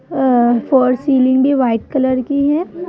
अ फोर सिलिंग भी white colour की है।